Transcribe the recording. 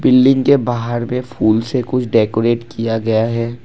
Building के बाहर में फूल से कुछ डेकोरेट किया गया है।